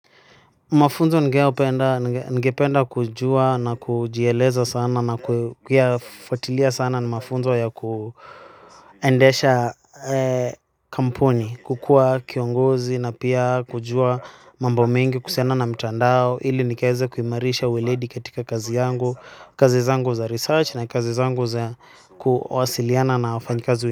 Mafunzo ningependa kujuwa na kujieleza sana na kuyafwatilia sana ni mafunzo ya kuendesha kampuni, kukuwa kiongozi na pia kujuwa mambo mengi, kuhusiana na mtandao, ili nikaeze kuimarisha weledi katika kazi yangu, kazi zangu za research na kazi zangu za kuwasiliana na wafanyikazi.